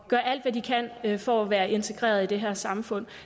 og gør alt hvad de kan kan for at være integreret i det her samfund